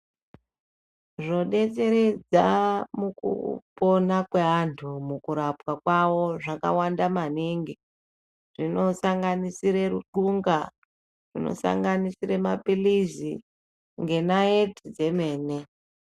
Zvodetseredza mukupona kweantu mukurapwa kwavo zvakawanda maningi. Zvinosanganisire ruxunga, zvinosanganisire maphilizi ngenayeti dzemene.